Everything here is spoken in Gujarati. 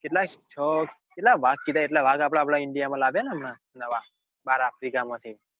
કેટલા છો કેટલા વાઘ કીધા એટલા આપડા આપડા ઇન્ડિયા માં લાગે ને હમણાં નવા બાર આફ્રિકા માંથી